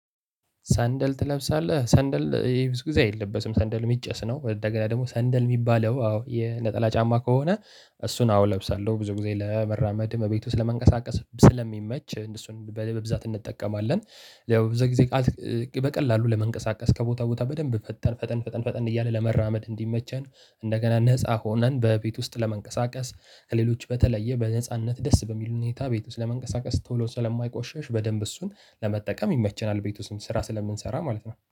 ሰንደል ትለብሳለህ ሰንደል ይሄ ብዙ ጊዜ አይለበስም ሰንደል የሚጨስ ነው። እንደገና ደግሞ ሰንደል የሚባለው አዎ የነጠላ ጫማ ከሆነ። እሱን አወ እለብሳለሁ ብዙ ጊዜ ለመራመድም እቤት ውስጥ ለመንቀሳቀስም ስለሚመች እሱን በልብ ብዛት እንጠቀማለን። ያው በዛ ጊዜ በቀላሉ ለመንቀሳቀስ ከቦታ ቦታ በደንብ ፈጠን ፈጠን ፈጠን ፈጠን እያልን ለመራመድ እንዲመቸን። እንደገና ነፃ ሆነን በቤት ውስጥ ለመንቀሳቀስ ከሌሎች በተለየ በነጻነት ደስ በሚሉ ሁኔታ ቤት ውስጥ ለመንቀሳቀስ ቶሎ ስለማይቆሸሽ በደንብ እሱን ለመጠቀም ይመቸናል። ቤት ውስጥ ስራ ስለምንሰራ ማለት ነው